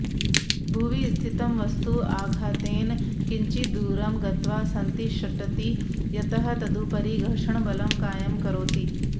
भुवि स्थितं वस्तु आधातेन किञ्चिद्दूरं गत्वा सन्तिषट्ति यतः तदुपरि घर्षणबलं कायं करोति